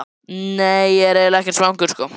Nei, ég er eiginlega ekkert svangur.